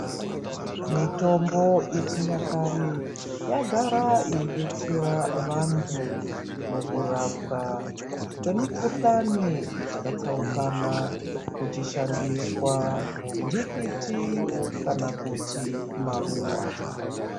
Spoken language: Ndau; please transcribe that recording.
Mutombo ye chinyakare ya gara yei detsera vantu muku rapwa kwe mikuhlani dzaka tsaukana kuchi shandiswa ndikiti kana kuti maruva.